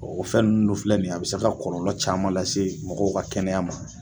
O fɛn nunnu dɔ filɛ nin ye a bi se ka kɔrɔlɔ caman lase mɔgɔw ka kɛnɛya ma.